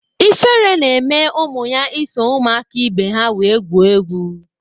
Ifere na-eme ụmụ ya iso ụmụaka ibe ha wee gwo egwu.